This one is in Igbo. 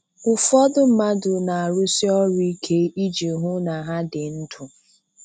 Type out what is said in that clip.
Ụfọdụ mmadụ na-arụsi ọrụ ike iji hụ na ha dị ndụ.